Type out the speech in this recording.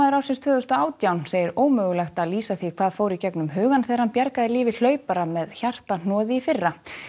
ársins tvö þúsund og átján segir ómögulegt að lýsa því hvað fór í gegnum hugann þegar hann bjargaði lífi hlaupara með hjartahnoði í fyrra